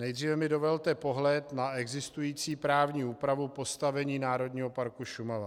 Nejdříve mi dovolte pohled na existující právní úpravu postavení Národního parku Šumava.